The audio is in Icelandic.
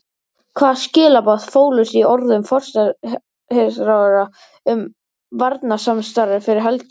Hvaða skilaboð fólust í orðum forsætisráðherra um varnarsamstarfið fyrir helgi?